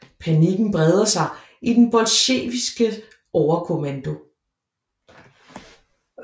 Panikken breder sig i den bolsjevikiske overkommando